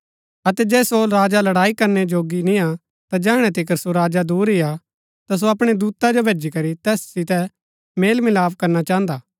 अतै जे सो राजा लड़ाई करनै जोगी निआं ता जैहणै तिकर सो राजा दूर ही हा ता सो अपणै दूता जो भैजी करी तैस सितै मेल मिलाप करना चाहन्दा